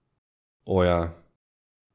O, ja.